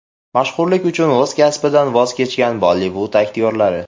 Mashhurlik uchun o‘z kasbidan voz kechgan Bollivud aktyorlari .